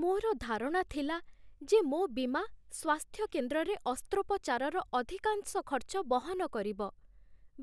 ମୋର ଧାରଣା ଥିଲା ଯେ ମୋ ବୀମା ସ୍ୱାସ୍ଥ୍ୟ କେନ୍ଦ୍ରରେ ଅସ୍ତ୍ରୋପଚାରର ଅଧିକାଂଶ ଖର୍ଚ୍ଚ ବହନ କରିବ।